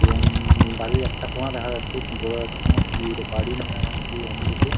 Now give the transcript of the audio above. এবং উম বাড়ির একটা কোণা দেখা যাচ্ছে কিছু বোঝা যাচ্ছে না কি এটা বাড়ি না কি অন্য কিছু ।